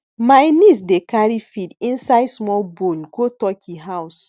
my niece dey carry feed inside small bowl go turkey house